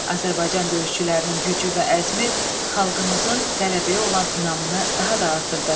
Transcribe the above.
Azərbaycan döyüşçülərinin gücü və əzmi xalqımızın qələbəyə olan inamını daha da artırdı.